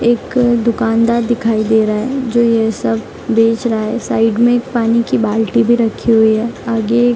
एक दुकानदार दिखाई दे रहा है जो ये सब बेच रहा है साइड में एक पानी की बाल्टी भी रखी हुई है आगे --